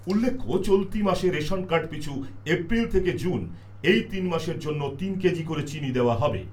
উল্লেখ্য, চলতি মাসে রেশন কার্ড পিছু এপ্রিল থেকে জুন এই তিন মাসের জন্য তিন কেজি করে চিনি দেওয়া হবে।